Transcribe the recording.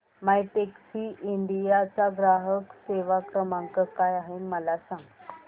My Taxi India चा ग्राहक सेवा क्रमांक काय आहे मला सांग